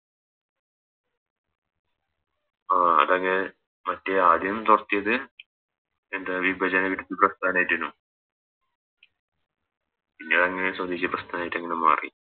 ആഹ് അതങ്ങനെ മറ്റേ ആടയും തോരത്തിയത് വിഭജന വിരുദ്ധ പ്രസ്ഥാനമായിറ്റെനു പിന്നെ അങ്ങനെ സ്വദേശി പ്രസ്ഥാനമായിറ്റ് അങ്ങനെ മാറി